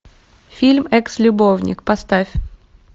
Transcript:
фильм экс любовник поставь